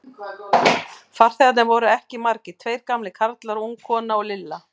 Farþegarnir voru ekki margir, tveir gamlir karlar, ung kona og Lilla.